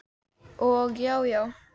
Og já já.